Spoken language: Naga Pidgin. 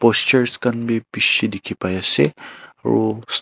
Posters kahn beh beshe dekhe pai ase aro--